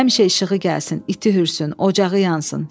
Həmişə işığı gəlsin, iti hürsün, ocağı yansın.